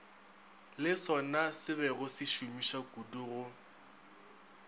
le sonasebego se šomišwakudu go